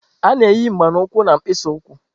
A na-eyi mgba na ukwu na mkpịsị ụkwụ.